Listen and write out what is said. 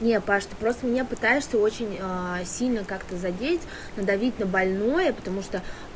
нет паша ты просто меня пытаешься очень сильно как-то задеть надавить на больное потому что